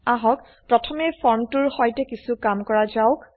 আহক প্ৰথমে ফৰ্মটোৰ সৈতে কিছু কাম কৰা যাওক